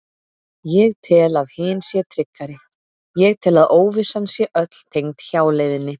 Ég tel að hin sé tryggari, ég tel að óvissan sé öll tengd hjáleiðinni.